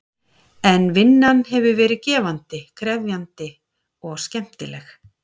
En vinnan hefur verið gefandi, krefjandi og skemmtileg.